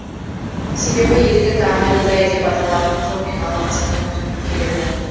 себебі елге тағы идай деп аталатын тропикалық циклон төніп келеді